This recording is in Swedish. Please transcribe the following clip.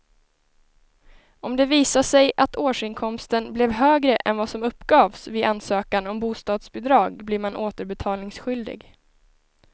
Om det visar sig att årsinkomsten blev högre än vad som uppgavs vid ansökan om bostadsbidrag blir man återbetalningsskyldig.